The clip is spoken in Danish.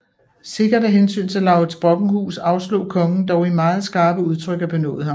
Sikkert af hensyn til Laurids Brockenhuus afslog kongen dog i meget skarpe udtryk at benåde ham